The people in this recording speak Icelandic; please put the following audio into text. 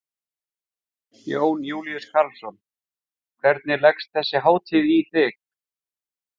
Jón Júlíus Karlsson: Hvernig leggst þessi hátíð í þig?